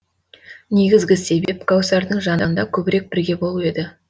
негізгі себеп кәусардың жанында көбірек бірге болу еді